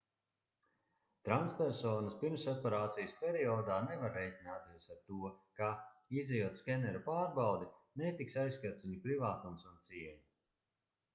transpersonas pirmsoperācijas periodā nevar rēķināties ar to ka izejot skeneru pārbaudi netiks aizskarts viņu privātums un cieņa